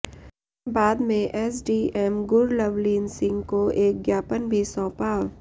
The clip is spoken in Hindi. बाद में एसडीएम गुरलवलीन सिंह को एक ज्ञापन भी सौंपा